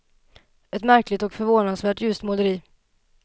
Ett märkligt och förvånansvärt ljust måleri.